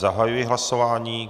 Zahajuji hlasování.